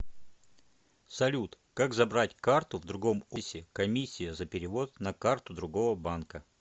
салют как забрать карту в другом офисе комиссия за перевод на карту другого банка